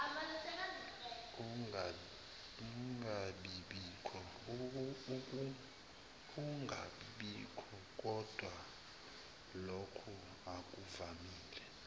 ungabibikho kodwalokhu akuvamile